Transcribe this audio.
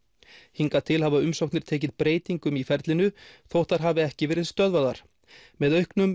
hingað til hafa umsóknir tekið breytingum í ferlinu þótt þær hafi ekki verið stöðvaðar með auknum